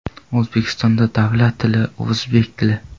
O‘zbekistonda davlat tili o‘zbek tili.